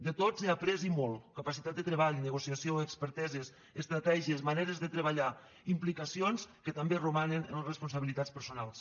de tots he après i molt capacitat de treball negociació experteses estratègies maneres de treballar implicacions que també romanen en les responsabilitats personals